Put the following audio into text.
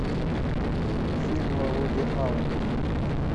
фильмы вуди алена